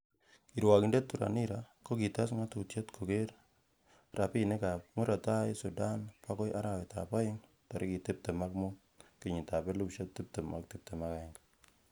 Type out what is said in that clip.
Kirwokindet Thuranira ko kites ngatutiet koger rabinik ab Murot tai Sudan bokoi arawetab oeng tarigit tibtem ak mut, kenyitab 2021.